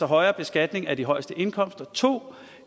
højere beskatning af de højeste indkomster 2